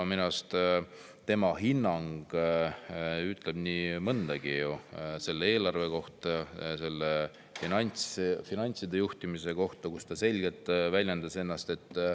Minu arust ütleb tema hinnang – tsiteerin teda –, et "see on kõva rahanduse juhtimine", selle eelarve ja finantside juhtimise kohta nii mõndagi.